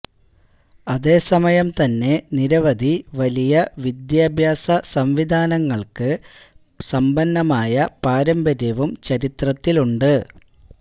അതേസമയം തന്നെ നിരവധി വലിയ വിദ്യാഭ്യാസ സംവിധാനങ്ങൾക്ക് സമ്പന്നമായ പാരമ്പര്യവും ചരിത്രത്തിലുണ്ട്